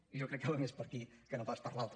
i jo crec que va més per aquí que no pas per l’altre